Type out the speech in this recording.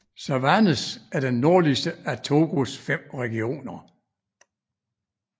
Savanes er den nordligste af Togos fem regioner